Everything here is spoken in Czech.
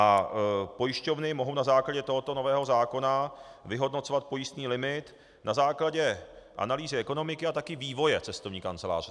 A pojišťovny mohou na základě tohoto nového zákona vyhodnocovat pojistný limit na základě analýzy ekonomiky a také vývoje cestovní kanceláře.